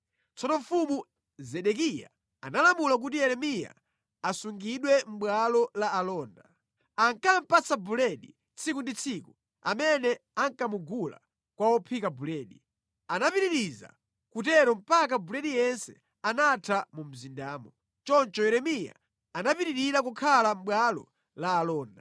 Tsono Mfumu Zedekiya analamula kuti Yeremiya asungidwe mʼbwalo la alonda. Ankamupatsa buledi tsiku ndi tsiku amene ankamugula kwa ophika buledi. Anapitiriza kutero mpaka buledi yense anatha mu mzindamo. Choncho Yeremiya anapitirira kukhala mʼbwalo la alonda.